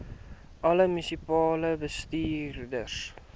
alle munisipale bestuurders